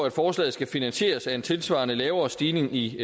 at forslaget skal finansieres af en tilsvarende lavere stigning i